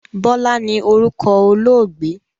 Bọlá ni orúkọ olóògbé